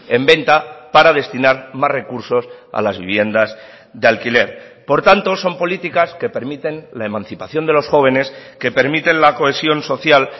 en venta para destinar más recursos a las viviendas de alquiler por tanto son políticas que permiten la emancipación de los jóvenes que permiten la cohesión social